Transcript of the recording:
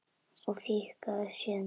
Og fikrar sig síðan innar?